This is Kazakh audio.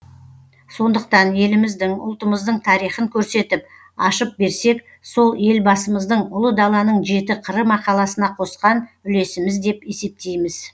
сондықтан еліміздің ұлтымыздың тарихын көрсетіп ашып берсек сол елбасымыздың ұлы даланың жеті қыры мақаласына қосқан үлесіміз деп есептейміз